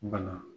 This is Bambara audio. Bana